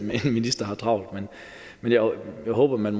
en minister har travlt men jeg håber at man